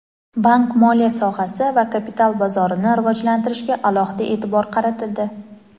bank-moliya sohasi va kapital bozorini rivojlantirishga alohida e’tibor qaratildi.